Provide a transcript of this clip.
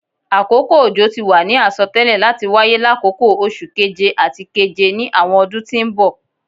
Akoko ojo ti wa ni asọtẹlẹ lati waye lakoko Oṣu Keje ati Keje ni awọn ọdun ti n bọ